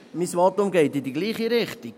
Mein Votum geht in dieselbe Richtung.